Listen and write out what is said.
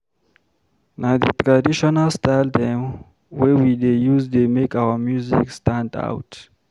Na di traditional style dem wey we dey use dey make our music stand out.